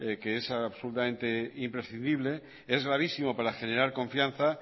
que es absolutamente imprescindible es gravísimo para generar confianza